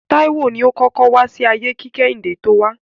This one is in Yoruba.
Táíwò ni ó kọ́kọ́ wá sí ayé kí Kẹ́hìndé tó wá.